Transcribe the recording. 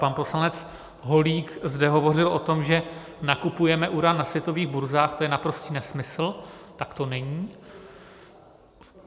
Pan poslanec Holík zde hovořil o tom, že nakupujeme uran na světových burzách - to je naprostý nesmysl, tak to není.